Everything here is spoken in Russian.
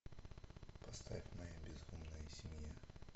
поставь моя безумная семья